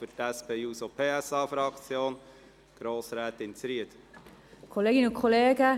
Für die SP-JUSO-PSA-Fraktion erteile ich Grossrätin Zryd das Wort.